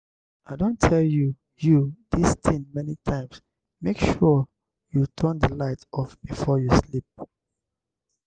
i don tell you you dis thing many times make sure you turn the light off before you sleep.